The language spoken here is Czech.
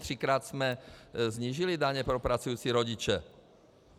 Třikrát jsme snížili daně pro pracující rodiče.